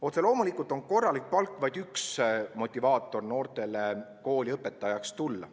Otse loomulikult on korralik palk noortele vaid üks motivaatoreid, miks kooli õpetajaks tulla.